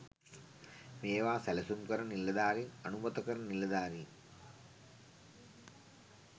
මේවා සැලසුම් කරන නිලධාරින් අනුමත කරන නිලධාරීන්